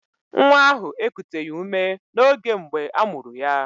Nwa ahụ ekuteghi ume n'oge mgbe amuru ya